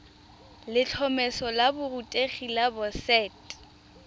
letlhomeso la borutegi la boset